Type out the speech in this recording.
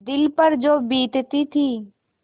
दिल पर जो बीतती थी